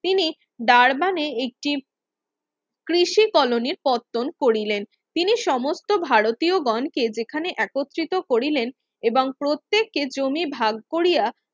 তিনি একটি কৃষি কলোনীর কর্তন করিলেন তিনি সমস্ত ভারতীয়গণকে যেখানে একত্রিত করিলেন এবং প্রত্যেকে জমি ভাগ করিয়া